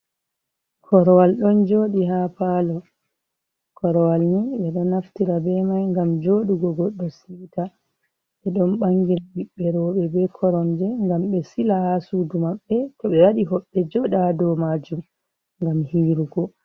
Korwal ɗon joɗi ha palo, korwal ni ɓe ɗon naftira be mai ngam joɗugo, goɗɗo si'ita be ɗon vangina ɓiɓɓe roɓe be koromje ngam be sila ha suudu maɓbe to ɓe waɗi hoɓɓe joɗa dow majum ngam hiirugo.